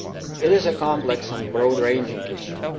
It is a complex and broad ranging issue.